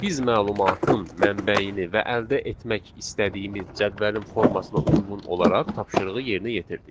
Biz məlumatın mənbəyini və əldə etmək istədiyimiz cədvəlin formasına uyğun olaraq tapşırığı yerinə yetirdik.